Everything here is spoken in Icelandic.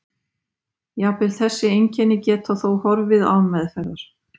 jafnvel þessi einkenni geta þó horfið án meðferðar